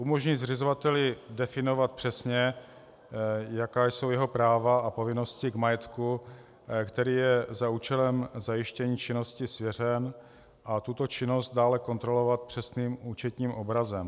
Umožní zřizovateli definovat přesně, jaká jsou jeho práva a povinnosti k majetku, který je za účelem zajištění činnosti svěřen, a tuto činnost dále kontrolovat přesným účetním obrazem.